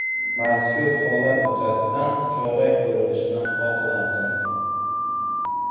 Mazkur holat yuzasidan chora ko‘rilishini xohlardim.